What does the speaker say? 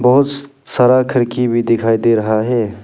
बहुत सारा खिड़की भी दिखाई दे रहा है।